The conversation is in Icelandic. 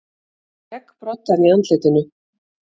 Skeggbroddar í andlitinu.